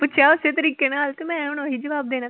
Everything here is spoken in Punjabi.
ਪੁੱਛਿਆ ਓਸੇ ਤਰੀਕੇ ਨਾਲ ਤੇ ਮੈ ਹੁਣ ਓਹੀ ਜਵਾਬ ਦੇਣਾ।